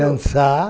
Dançar.